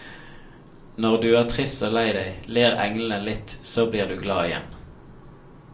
Når du er trist og lei deg, ler englene litt så blir du glad igjen.